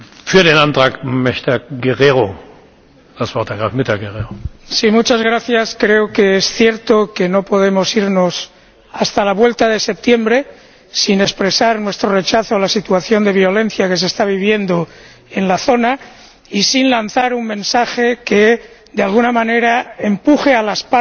Señor Presidente, creo que es cierto que no podemos irnos hasta la vuelta de septiembre sin expresar nuestro rechazo a la situación de violencia que se está viviendo en la zona y sin lanzar un mensaje que, de alguna manera, empuje a las partes a detener